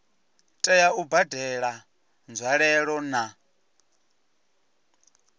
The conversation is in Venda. tea u badela nzwalelo na